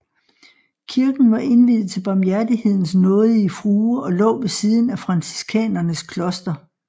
Kirken var indviet til Barmhjertighedens nådige frue og lå ved siden af franciskanernes kloster